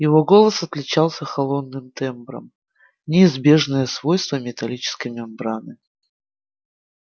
его голос отличался холодным тембром неизбежное свойство металлической мембраны